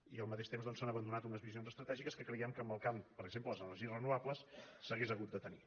i al mateix temps doncs s’han abandonat unes visions estratègiques que creiem que en el camp per exemple de les energies renovables s’haurien hagut de tenir